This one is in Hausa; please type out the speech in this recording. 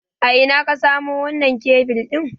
A ina ka samo wannan kebil ɗin?